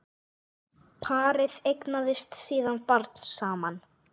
Parið eignast síðan barn saman.